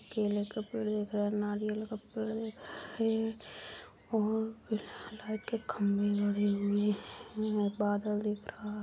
केले का पेड़ दिख रहा है नारियल का पेड़ है और लाइट के खंभे गड़े हुए हैं बादल दिख रहा--